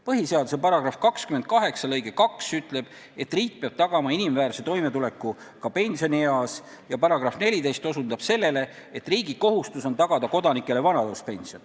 Põhiseaduse § 28 lõige 2 ütleb, et riik peab tagama inimväärse toimetuleku ka pensionieas, ja § 14 osutab sellele, et riigi kohustus on tagada kodanikele vanaduspension.